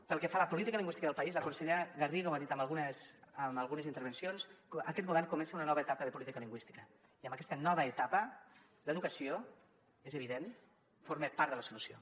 pel que fa a la política lingüística del país la consellera garriga ho ha dit en algunes intervencions aquest govern comença una nova etapa de política lingüística i en aquesta nova etapa l’educació és evident forma part de la solució